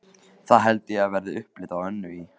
Það held ég verði upplit á Önnu í